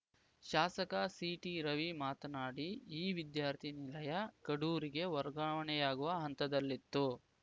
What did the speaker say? ಶಾಸಕ ಸಿಟಿ ರವಿ ಮಾತನಾಡಿ ಈ ವಿದ್ಯಾರ್ಥಿ ನಿಲಯ ಕಡೂರಿಗೆ ವರ್ಗಾವಣೆಯಾಗುವ ಹಂತದಲ್ಲಿತ್ತು